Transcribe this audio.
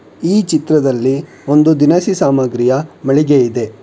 ಈ ಚಿತ್ರದಲ್ಲಿ ಒಂದು ದಿನಸಿ ಸಾಮಾಗ್ರಿಯ ಮಳಿಗೆ ಇದೆ.